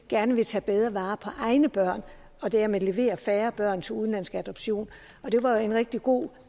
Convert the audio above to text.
gerne vil tage bedre vare på egne børn og dermed levere færre børn til udenlandsk adoption det var en rigtig god